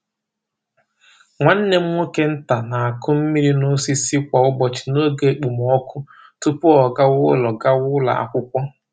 Nwanne m nwoke nta na-akụ mmiri n’osisi kwa ụbọchị n’oge okpomọkụ tupu ọ gawa ụlọ gawa ụlọ akwụkwọ.